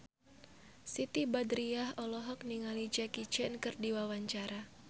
Siti Badriah olohok ningali Jackie Chan keur diwawancara